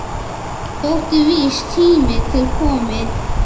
Þótti víst tími til kominn.